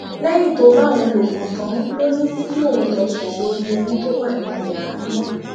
lẹyìn tó bá òun lò pọ tán ló ní kí òun lọọ sùn sórí ẹni tó wà nínú yàrá náà